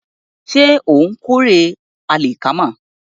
Ṣé ó ń kórè àlìkámà?